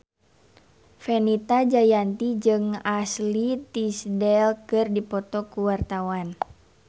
Fenita Jayanti jeung Ashley Tisdale keur dipoto ku wartawan